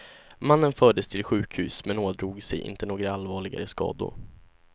Mannen fördes till sjukhus men ådrog sig inte några allvarligare skador.